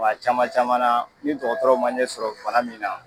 Kuma caman caman na, ni dɔgɔtɔrɔw ma ɲɛ sɔrɔ bana min na